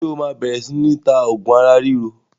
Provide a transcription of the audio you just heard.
Ṣé o máa bẹ̀rẹ̀ sini ta oògùn ara ríro?